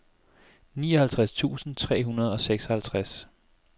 nioghalvtreds tusind tre hundrede og seksoghalvtreds